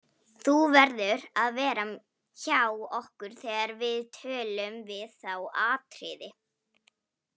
Þú verður að vera hjá okkur þegar við tölun við þá Atriði.